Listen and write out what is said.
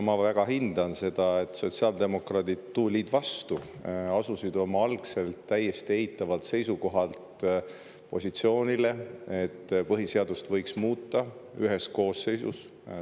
Ma väga hindan seda, et sotsiaaldemokraadid tulid vastu ja asusid oma algselt täiesti eitavalt seisukohalt positsioonile, et põhiseadust võiks muuta ühe koosseisu jooksul.